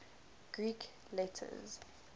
greek letters